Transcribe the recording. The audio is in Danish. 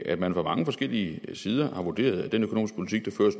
at man fra mange forskellige sider har vurderet at den økonomiske politik der